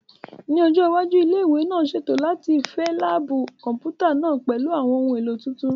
Ní ọjọ́ iwájú, ilé ìwé náà ṣètò láti fẹ láàbù Kọ̀m̀pútà náà pẹ̀lú àwọn ohun èlò tuntun